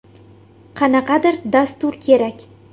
Qanaqadir dastur kerak.